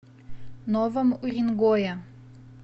новом уренгое